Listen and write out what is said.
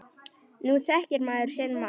Nú þekkir maður sinn mann.